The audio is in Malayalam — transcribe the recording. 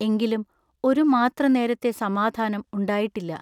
എങ്കിലും ഒരു മാത്രനേരത്തെ സമാധാനം ഉണ്ടായിട്ടില്ല.